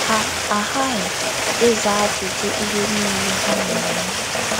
Ha aghaghị ịza ajụjụ ihe niile ha na - eme.